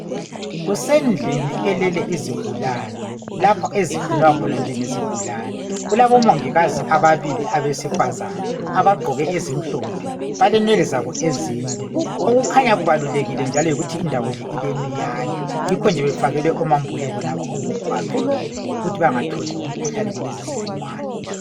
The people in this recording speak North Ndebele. Kusendlini elele izigulane, lapho ezigcinwa khona njengezigulane. Kulabomongikazi ababili abasifazane abagqoke ezimhlophe balenwele zabo ezinde. Okukhanya kubalulekile yikuthi kulemiyane yikho befakelwe amambule labo okubavikelwa ukuthi bengatholi imikhuhlane yalezo zibungwana.